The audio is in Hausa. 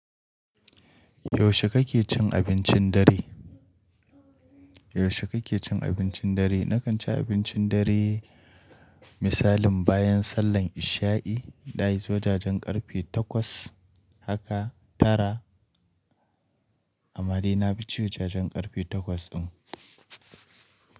Yaushe kake cin abincin dare? Yaushe kake cin abincin dare? Nakan ci abincin dare misalin bayan sallar isha'i, like wajajen ƙarfe takwas haka tara. Amare na bi ci zujajjen ƙarfe takwas din.